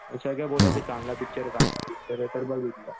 सगळे बोलायचे चांगला पिक्चर आहे चांगला पिक्चर आहे तर बघितला.